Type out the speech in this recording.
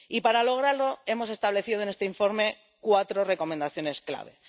Y, para lograrlo, hemos establecido en este informe cuatro recomendaciones clave.